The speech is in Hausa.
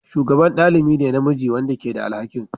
shugaban ɗalibi ne na namiji wanda ke da alhakin